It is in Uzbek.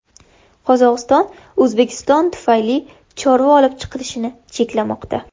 Qozog‘iston O‘zbekiston tufayli chorva olib chiqilishini cheklamoqda.